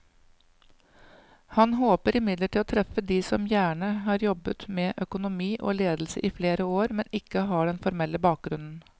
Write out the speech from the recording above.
Han håper imidlertid å treffe de som gjerne har jobbet med økonomi og ledelse i flere år, men ikke har den formelle bakgrunnen.